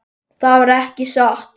Það var ekki satt.